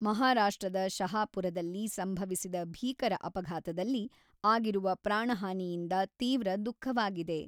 ಮಹಾರಾಷ್ಟ್ರದ ಶಹಾಪುರದಲ್ಲಿ ಸಂಭವಿಸಿದ ಭೀಕರ ಅಪಘಾತದಲ್ಲಿ ಆಗಿರುವ ಪ್ರಾಣಹಾನಿಯಿಂದ ತೀವ್ರ ದುಃಖವಾಗಿದೆ.